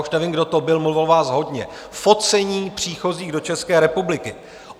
Už nevím, kdo to byl, mluvilo vás hodně, focení příchozích do České republiky.